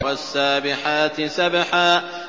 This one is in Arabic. وَالسَّابِحَاتِ سَبْحًا